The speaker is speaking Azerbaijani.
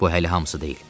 Bu hələ hamısı deyil.